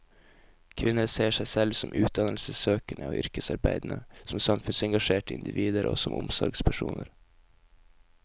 Kvinner ser seg selv som utdannelsessøkende og yrkesarbeidende, som samfunnsengasjerte individer og som omsorgspersoner.